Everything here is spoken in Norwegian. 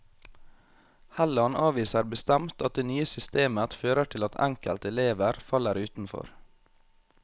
Helland avviser bestemt at det nye systemet fører til at enkelte elever faller utenfor.